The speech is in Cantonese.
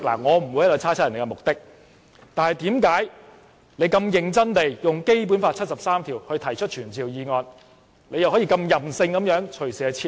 我不會猜測別人的目的，但為何他認真地引用《基本法》第七十三條提出傳召議案後，又可以任性地隨時撤回？